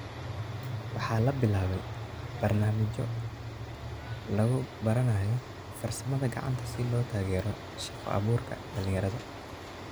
Waxaa labilaabay barnaamijyo lagubaranayo farsamada gacanta si loo taageero shaqo abuurka dhalinyarada.